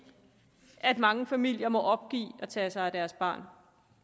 mange familier må opgive at tage sig af deres barn